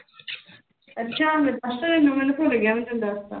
ਅੱਛਾ ਮੈਨੂੰ ਭੁੱਲ ਗਿਆ ਵੀ ਮੈਂ ਦੱਸ ਦਿੱਤਾ।